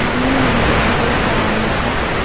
Mami nĩendete gũikara riko